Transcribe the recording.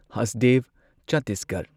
Hasdeo Chhattisgarh